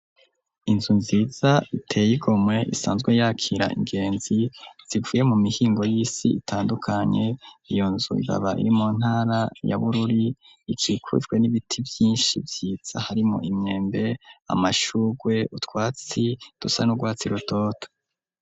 Inzu nziza iteye igomwe isanzwe yakira ingenzi zivuye mu mihingo y'isi itandukanye, iyo nzu ikaba iri mu ntara ya Bururi ikukijwe n'ibiti vyinshi byitsa harimo imyembe amashurwe utwatsi dusa n'urwatsi rutoto.